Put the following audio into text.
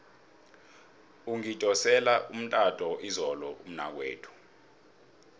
ungidosele umtato izolo umnakwethu